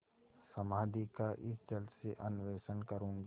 समाधि का इस जल से अन्वेषण करूँगी